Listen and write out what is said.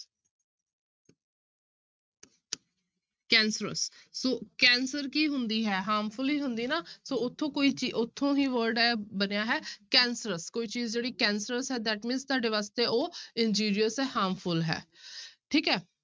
Cancerous ਸੋ cancer ਕੀ ਹੁੰਦੀ ਹੈ harmful ਹੀ ਹੁੰਦੀ ਨਾ ਸੋ ਉੱਥੋਂ ਕੋਈ ਚੀ~ ਉਥੋਂ ਹੀ word ਇਹ ਬਣਿਆ ਹੈ cancerous ਕੋਈ ਚੀਜ਼ ਜਿਹੜੀ cancerous ਹੈ that means ਤੁਹਾਡੇ ਵਾਸਤੇ ਉਹ injurious ਹੈ harmful ਹੈ ਠੀਕ ਹੈ।